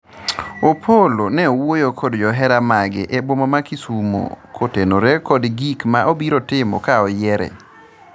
Opollo ne wuoyo kod johera mage e boma ma kisumo kotenore kod gik ma obiro timo ka oyiere